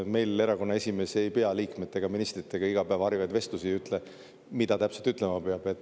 Meil erakonna esimees ei pea liikmetega-ministritega iga päev harivaid vestlusi ja ei ütle, mida täpselt ütlema peab.